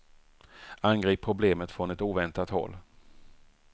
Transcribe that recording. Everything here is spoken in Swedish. Angrip problemet från ett oväntat håll.